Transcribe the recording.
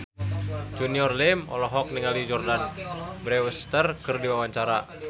Junior Liem olohok ningali Jordana Brewster keur diwawancara